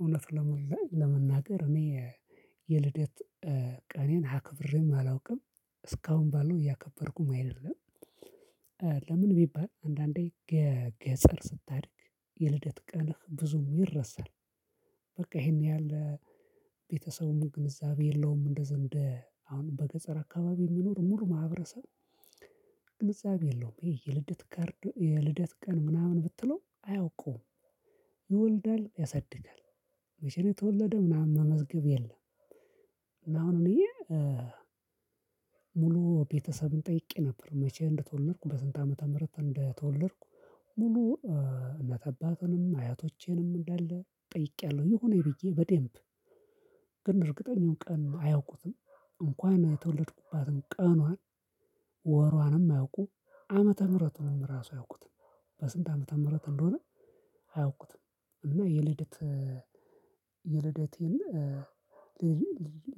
እውነት ለመናገር እኔ የልደት ቀኔን አክብሬም አላውቅም እስካሁን ባለው እያከበርኩም አይደለም። ለምን ቢባል አንዳንዴ ገጠር ስታድግ የልደት ቀንህ ብዙም ይረሳል። በቃ ይሄን ያህል ቤተሰቡን ግንዛቤ የለውም እንደ ዘንድ አሁን በገጠር አካባቢ የሚኖር ሙሉ ማህበረሰብ። ግንዛቤ የለውም ይሄ የልደት ካርድ የልደት ቀን ምናምን ብትለው አያውቁም። ይወልዳል ያሳድጋል መቼም የተወለደ ምናምን መመዝገብ የለም። አሁን እኔ ሙሉ ቤተሰብን ጠይቄ ነበር። መቼ እንደተወለድኩ በስንት ዓመተ ምህረት እንደተወለድኩ ሙሉ እናትአባትንም አያቶቼንም እንዳለ ጠይቄያለሁ። የሆነ ብዬ በደንብ ግን እርግጠኛው ቀን አያውቁትም። እንኳን የተወለድኩባትን ቀኗን ወሯንም አያውቁም። ዓመተ ምህረት ነው ራሱ አያውቁትም። በስንት ዓመተ ምህረት እንደሆነ አያውቁትም። እና የልደት የልደቴን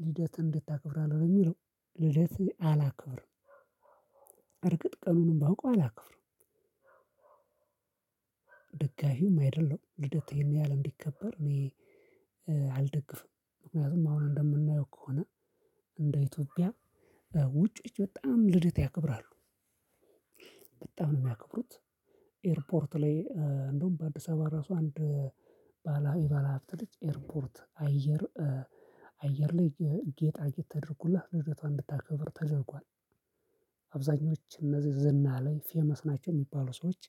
ልደት እንድታክብራለህ የሚለው ልደቴ አላክብርም። እርግጥ ቀኑንም ብናውቀው አላክብርም። ደጋፊውም አይደለም ልደትህን ያህል እንዲከበር እኔ አልደግፍም። ምክንያቱም አሁን እንደምናየው ከሆነ እንደ ኢትዮጵያ ውጪዎች በጣም ልደት ያክብራሉ። በጣም ነው የሚያከብሩት። ኤርፖርት ላይ እንደውም በአዲስ አበባ ራሱ አንድ የባለሀብት ልጅ ኤርፖርት አየር አየር ላይ ጌጣጌጥ ተደርጉላት ልደቷን እንድታከብር ተደርጓል። አብዛኞቹ እነዚህ ዝና ላይ ፌመስ ናቸው የሚባሉ ሰዎች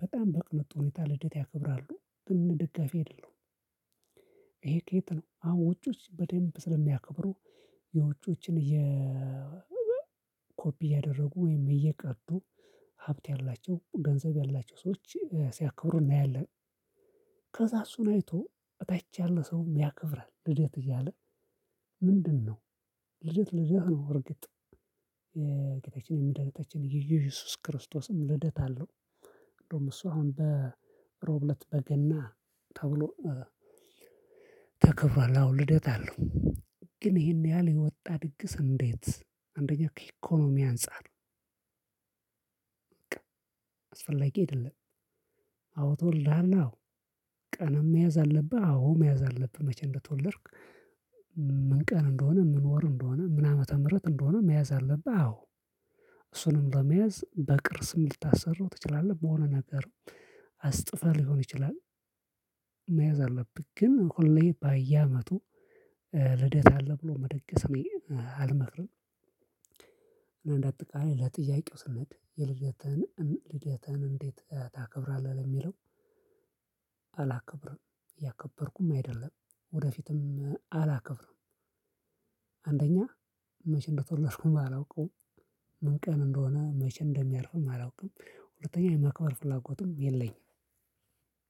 በጣም በቅንጡ ሁኔታ ልደት ያክብራሉ ደጋፊ አይደለሁም። ይሄ ከየት ነው? አዎ ውጪዎች በደንብ ስለሚያከብሩ የውጪዎችን ኮፒ ያደረጉ ወይም እየቀዱ ሀብት ያላቸው ገንዘብ ያላቸው ሰዎች ሲያከብሩ እናያለን። ከዛ እሱን አይቶ እታች ያለ ሰው ያከብራል። ልደት እያለ ምንድነው? ልደት ልደት ነው። እርግጥ የጌታችን የመዳኒታችን የኢየሱስ ክርስቶስም ልደት አለው። እንደውም እሱ አሁን ዕርቡ ለት በገና ተብሎ ተከፍሯል። አሁን ልደት አለው። ግን ይሄን ያህል የወጣ ድግስ እንዴት? አንደኛው ከኢኮኖሚ አንፃር በቃ አስፈላጊ የለም። አዎ ተወልደሃል አዎ ቀና መያዝ አለብህ። አዎ መያዝ አለብህ። መቼ እንደተወለድክ? ምን ቀን እንደሆነ ምን ወር እንደሆነ ምን ዓመተ ምህረት እንደሆነ መያዝ አለብህ። አዎ እሱንም ለመያዝ በቅርስም ልታሰራው ትችላለህ። በሆነ ነገር አስጥፈህ ሊሆን ይችላል። መያዝ አለብህ። ግን ሁሌ በየአመቱ ልደት አለ ብሎ መደገፍ እኔ አልመክርም። እና እንዳጠቃይ ለጥያቄው የልደትንህን ልደትህን እንዴት ታከብራለህ? ለሚለው አላከብርም እያከበርኩም አይደለም ወደፊትም አላከብርም። አንደኛ መቼ እንደተወለድኩኝ አላውቀውም። ምን ቀን እንደሆነ መቼ እንደሚያርፍም አላውቅም። ሁለተኛ የማክበር ፍላጎቱም የለኝም።